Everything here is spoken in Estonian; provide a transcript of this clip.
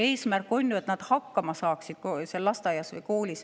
Eesmärk on ju, et nad seal lasteaias või koolis hakkama saaksid.